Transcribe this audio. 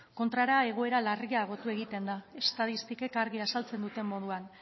kontrara egoera larriagotu egiten da estatistikek argi azaltzen duten moduan